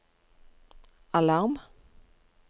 alarm